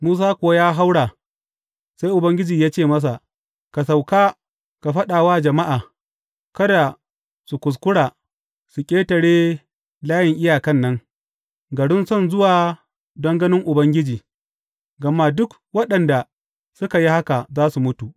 Musa kuwa ya haura sai Ubangiji ya ce masa, Ka sauka ka faɗa wa jama’a, kada su kuskura su ƙetare layin iyakan nan, garin son zuwa don ganin Ubangiji, gama duk waɗanda suka yi haka za su mutu.